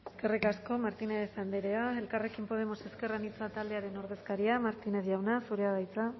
eskerrik asko martínez andrea elkarrekin podemos ezker anitza taldearen ordezkaria martínez jauna zurea da hitza